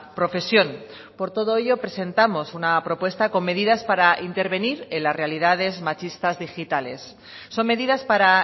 profesión por todo ello presentamos una propuesta con medidas para intervenir en las realidades machistas digitales son medidas para